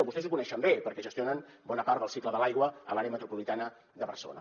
vostès ho coneixen bé perquè gestionen bona part del cicle de l’aigua a l’àrea metropolitana de barcelona